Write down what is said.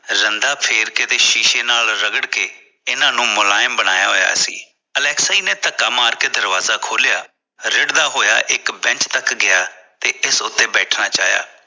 ਰੰਦਾ ਫੇਰਕੇ ਤੇ ਸ਼ੀਸ਼ੇ ਨਾਲ ਰਗੜਕੇ ਇਹਨਾਂ ਨੂੰ ਮੁਲਾਇਮ ਬਣਾਇਆ ਹੋਇਆ ਸੀ ਅਲੈਕਸੀ ਨੇ ਧੱਕਾ ਮਾਰਕੇ ਦਰਵਾਜ਼ਾ ਖੋਲਿਆ ਰਿੜਦਾ ਹੋਇਆ ਇਕ Bench ਤੱਕ ਗਿਆ ਤੇ ਇਸਦੇ ਸੋਫ਼ੇ ਬੈਠਣਾ ਚਾਹਿਆ